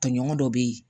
Tɔɲɔgɔn dɔ bɛ yen